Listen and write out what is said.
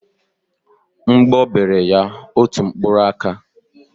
Mgbọ bere ya otu mkpụrụ aka.